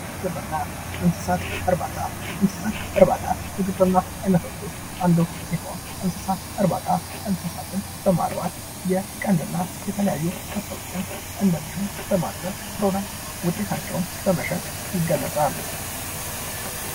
ግብርና፤ እንስሳት እርባታ፦ እንስሳት እርባታ ከግብርና አይነቶች ውስጥ አንዱ ሲሆን እንስሳት እርባታ እንስሳትን በማርባት የቀንድና የተለያዩ ከብቶችን እንደዚሁም በማድለብ ውጤታቸውን በመሸጥ ይገለጻል።